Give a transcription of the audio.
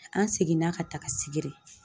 An seginna ka taga Sigiri